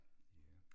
Ja